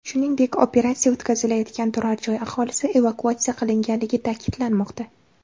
Shuningdek, operatsiya o‘tkazilayotgan turar-joy aholisi evakuatsiya qilinganligi ta’kidlanmoqda.